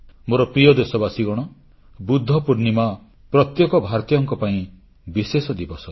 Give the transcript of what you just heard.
ମୋ ପ୍ରିୟ ଦେଶବାସୀଗଣ ବୁଦ୍ଧ ପୂର୍ଣ୍ଣିମା ପ୍ରତ୍ୟେକ ଭାରତୀୟ ପାଇଁ ବିଶେଷ ଦିବସ